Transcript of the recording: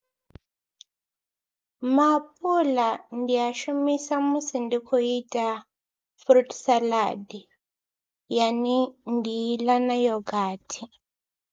Maapuḽa ndi a shumisa musi ndi khou ita fruit salad yane ndi i ḽa na yogathi.